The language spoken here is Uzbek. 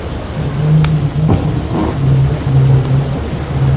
Organizmda ko‘p yillar muvozanat saqlanadi.